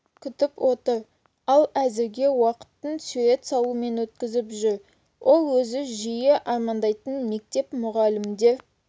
күтіп отыр ал әзірге уақытын сурет салумен өткізіп жүр ол өзі жиі армандайтын мектеп мұғалімдер